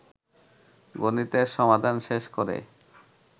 গণিতের সমাধান শেষ করে